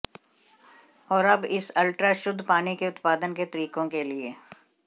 और अब इस अल्ट्रा शुद्ध पानी के उत्पादन के तरीकों के लिए